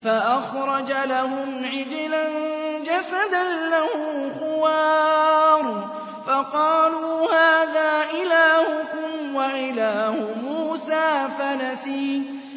فَأَخْرَجَ لَهُمْ عِجْلًا جَسَدًا لَّهُ خُوَارٌ فَقَالُوا هَٰذَا إِلَٰهُكُمْ وَإِلَٰهُ مُوسَىٰ فَنَسِيَ